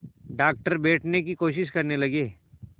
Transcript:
doctor बैठने की कोशिश करने लगे